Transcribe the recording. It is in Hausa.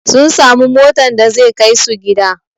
Sun samu motan da zai kaisu gida